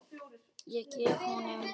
Ég gef honum